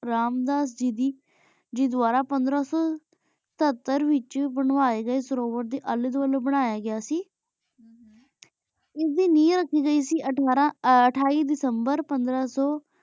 ਆਰਾਮ ਦਾ ਸੀਜੀ ਦੁਵਾਰਾ ਪੰਦਰਾਂ ਸੋ ਸਤਤਰ ਵੇਚ ਬਨਵਾਯ ਗੀ ਸਰੂਰ ਡੀ ਅਲੀ ਦੁਆਲ੍ਯ ਬਨਾਯਾ ਗਯਾ ਸ ਹਮ ਏਡੇ ਨੇਯਾਂ ਰਾਖੀ ਗਈ ਸੀ ਅਥਾਰ ਅਠਾਈ ਦਿਸੰਬਰ ਪੰਦਰਾ ਸੋ